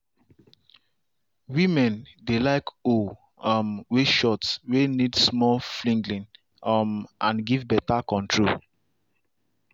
women dey like hoe um way short way need small flinging um and give beta control.